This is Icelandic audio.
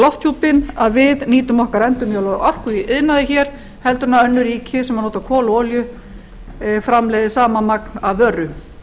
lofthjúpinn að við nýtum okkar endurnýjanlegu orku í iðnaði hér heldur en önnur ríki sem nota kol og olíu framleiða sama magn af vöru